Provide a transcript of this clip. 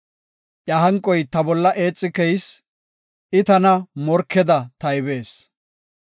Iya hanqoy ta bolla eexi keyis; I tana morkeda taybees.